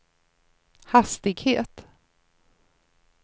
hastighet